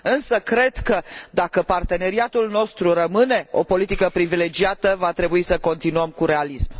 Însă cred că, dacă parteneriatul nostru rămâne o politică privilegiată, va trebui să continuăm cu realism.